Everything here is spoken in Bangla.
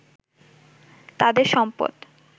তাদের সম্পদ